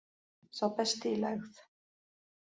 Sá besti í lægð